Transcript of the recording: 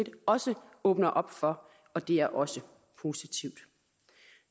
også åbner op for og det er også positivt